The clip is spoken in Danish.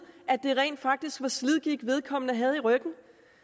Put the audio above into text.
at det rent faktisk var slidgigt vedkommende havde i ryggen